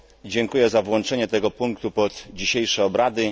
Dziękuję za włączenie tego punktu pod dzisiejsze obrady.